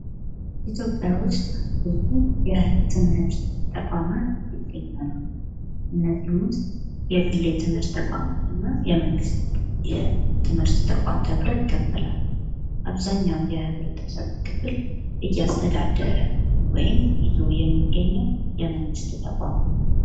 ኢትዮጵያ ውስጥ ብዙ የትምህርት ተቋማት ይገኛሉ። እነዚህም ውስጥ የግል የትምህርት ተቋማት እና የመንግስት የትምህርት ተቋም ተብሎ ይከፈላሉ። አብዛኛው የህብረተሰብ ክፍል እያስተዳደረ ወይም ይዞ የሚገኘው የመንግስት ተቋም ነው።